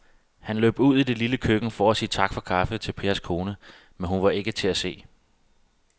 Han løb ud i det lille køkken for at sige tak for kaffe til Pers kone, men hun var ikke til at se.